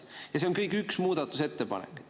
Ja see on kõik üks muudatusettepanek.